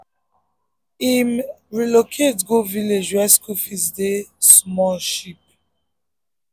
him um relocate go village where school fees dey small cheap.